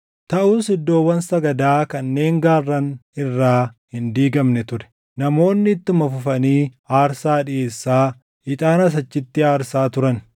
Taʼus iddoowwan sagadaa kanneen gaarran irraa hin diigamne ture; namoonni ittuma fufanii aarsaa dhiʼeessaa, ixaanas achitti aarsaa turan.